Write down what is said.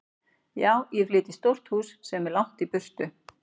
Já, ég flyt í stórt hús sem er langt í burtu.